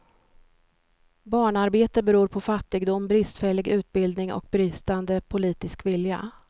Barnarbete beror på fattigdom, bristfällig utbildning och bristande politisk vilja.